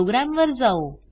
प्रोग्रॅमवर जाऊ